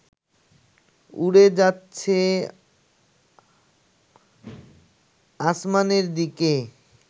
উড়ে যাচ্ছে আসমানের দিকে